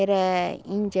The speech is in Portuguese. era índia.